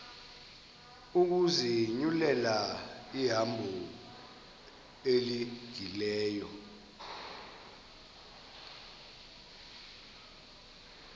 ukuzinyulela ihambo elungileyo